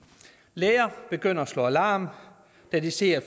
læger begynder at slå alarm da de ser at